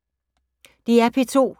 DR P2